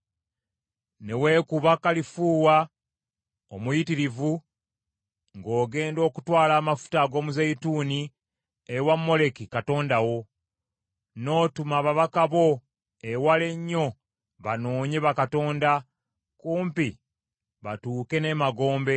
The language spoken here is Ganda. Ne weekuba kalifuuwa omuyitirivu ng’ogenda okutwala amafuta ag’omuzeeyituuni ewa Moleki katonda wo, n’otuma ababaka bo ewala ennyo banoonye bakatonda, kumpi batuuke n’emagombe.